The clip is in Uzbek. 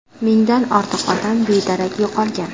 Mingdan ortiq odam bedarak yo‘qolgan.